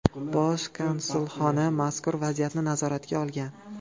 Bosh konsulxona mazkur vaziyatni nazoratga olgan.